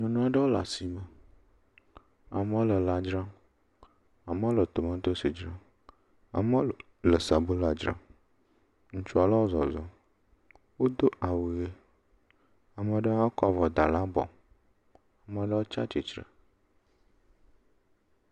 Nyɔnu aɖewo le asime. Amewo le lã dzram. Amewo le tomatosi dzram, amewo le sabala dzram. ŋutsu aɖewo zɔzɔm. Wodo awu ʋi. Ame aɖe hã kɔ avɔ da ɖe abɔ. Ame aɖe hã tsi atsitre.